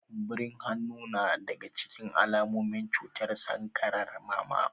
Kumburin hannu na daga cikin alamomin cutar sankarar mama